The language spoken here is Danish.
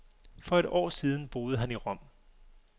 For et år siden boede han i Rom.